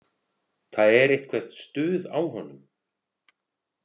Það er eitthvert stuð á honum.